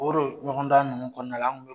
O de ɲɔgɔnda ninnu kɔnɔna la an tun bɛ